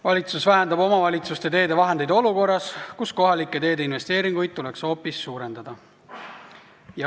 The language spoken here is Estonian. Valitsus vähendab omavalitsuste teehooldusvahendeid olukorras, kus kohalike teede jaoks vajalikke investeeringuid tuleks hoopis suurendada.